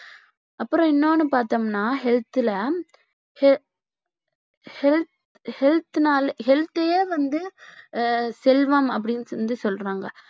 அப்புறம் இன்னொன்னு பார்த்தோம்னா health ல health னால health யே வந்து செல்வம் அப்பிடின்னு சொல்லி சொல்றாங்க